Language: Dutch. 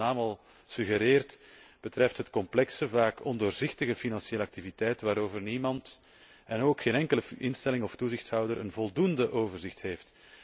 Zoals de naam al suggereert, betreft het complexe, vaak ondoorzichtige financiële activiteiten waarover niemand, en ook geen enkele instelling of toezichthouder, voldoende overzicht heeft.